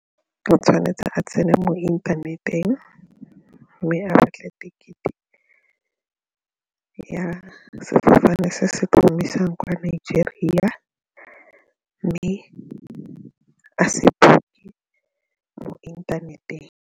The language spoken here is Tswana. O tshwanetse a tsene mo inthaneteng mme a batle ticket-e ya sefofane se se tlo mo isang kwa Nigeria mme a mo inthaneteng.